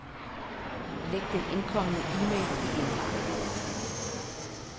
Læg den indkomne e-mail i indbakken.